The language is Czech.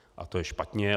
A to je špatně.